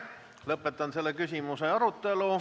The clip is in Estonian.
Lõpetan selle küsimuse arutelu.